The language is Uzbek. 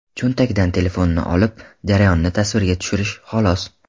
Cho‘ntakdan telefonni olib, jarayonni tasvirga tushirish, xolos.